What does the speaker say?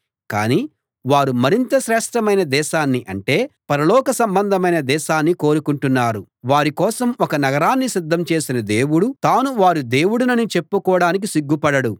కానీ వారు మరింత శ్రేష్ఠమైన దేశాన్ని అంటే పరలోక సంబంధమైన దేశాన్ని కోరుకుంటున్నారు వారి కోసం ఒక నగరాన్ని సిద్ధం చేసిన దేవుడు తాను వారి దేవుడినని చెప్పుకోడానికి సిగ్గు పడడు